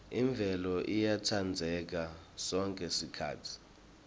imvelo iyatsandzeka sonkhe sikhatsi